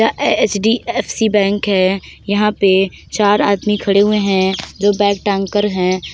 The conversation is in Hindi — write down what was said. यह एच_डी_एफ_सी बैंक है । यहां पे चार आदमी खड़े हुए हैं जो बैग टांग कर हैं।